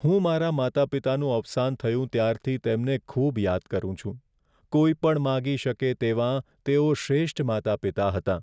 હું મારા માતા પિતાનું અવસાન થયું ત્યારથી તેમને ખૂબ યાદ કરું છું. કોઈ પણ માંગી શકે તેવાં, તેઓ શ્રેષ્ઠ માતા પિતા હતાં.